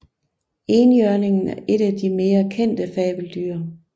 Enhjørningen er et af de mere kendte fabeldyr